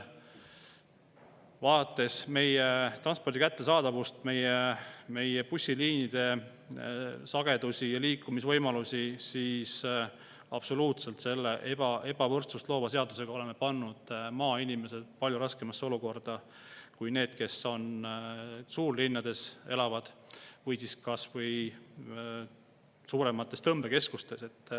Vaadates meie transpordi kättesaadavust, meie bussi sagedusi ja üldse liikumisvõimalusi, on absoluutselt, et me oleme selle ebavõrdsust loova seadusega pannud maainimesed palju raskemasse olukorda kui need, kes elavad suurlinnades või mujal suuremates tõmbekeskustes.